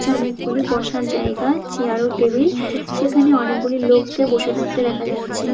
নিচে রয়েছে অনেকগুলি বসার জায়গা চেয়ার ও টেবিল সেখানে অনেকগুলি লোককে বসে থাকতে দেখা যাচ্ছে।